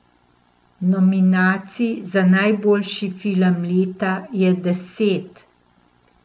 Nominacij za najboljši film leta je deset.